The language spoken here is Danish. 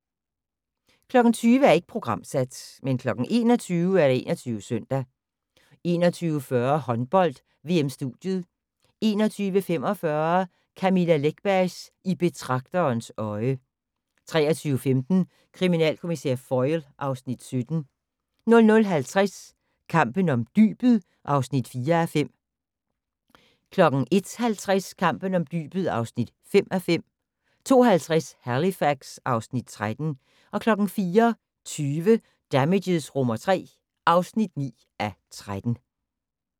20:00: Ikke programsat 21:00: 21 Søndag 21:40: Håndbold: VM-studiet 21:45: Camilla Läckbergs I betragterens øje 23:15: Kriminalkommissær Foyle (Afs. 17) 00:50: Kampen om dybet (4:5) 01:50: Kampen om dybet (5:5) 02:50: Halifax (Afs. 13) 04:20: Damages III (9:13)